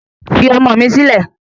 Fi ọmọ mi silẹ